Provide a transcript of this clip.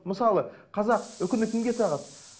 мысалы қазақ үкіні кімге тағады